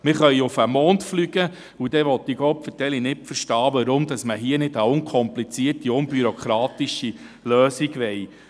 Wir können auf den Mond fliegen, dann will ich «gopferteli» nicht verstehen, warum man hier nicht eine unkomplizierte, unbürokratische Lösung will.